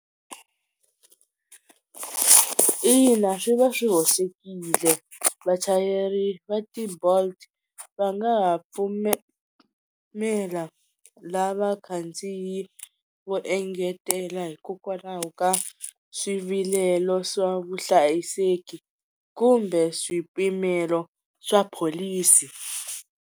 Ina swi va swi hoxekile vachayeri va ti-Bolt va nga ha pfumela la vakhandziyi vo engetela hikokwalaho ka swivilelo swa vuhlayiseki kumbe swipimelo swa pholisi.